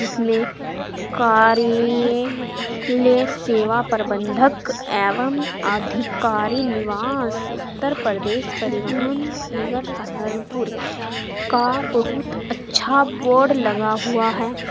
इसमें कार्य लय सेवा प्रबंधक एवं अधिकारी निवास उत्तर प्रदेश परिवहन निगर सहारनपुर का बहुत अच्छा बोर्ड लगा हुआ है।